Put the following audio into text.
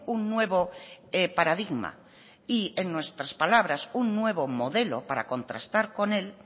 un nuevo paradigma y en nuestras palabras un nuevo modelo para contrastar con él